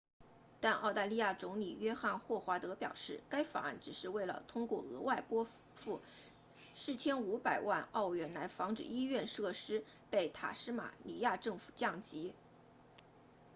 但澳大利亚总理约翰•霍华德 john howard 表示该法案只是为了通过额外拨付4500万澳元来防止医院设施被塔斯马尼亚政府降级